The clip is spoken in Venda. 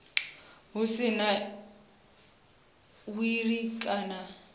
hu si na wili u